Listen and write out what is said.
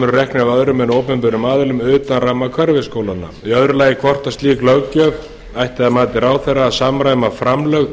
reknir eru af öðrum en opinberum aðilum utan ramma hverfisskólanna í öðru lagi hvort slík löggjöf ætti að mati ráðherra að samræma framlög